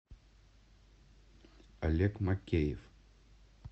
олег макеев